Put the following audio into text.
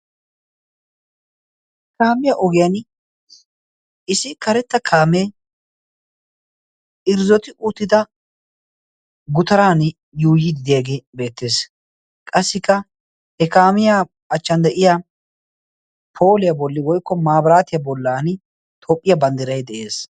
kaamiya ogiyan isi karetta kaamee irzzoti uttida gutaran yuuyidideege beettees qassikka he kaamiyaa achchan de7iya pooliyaa bolli woikko maabiraatiyaa bollan toophphiyaa banddirai de7ees